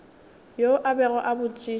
yoo a bego a botšiša